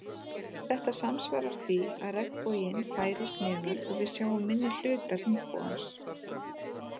Þetta samsvarar því að regnboginn færist neðar og við sjáum minni hluta hringbogans.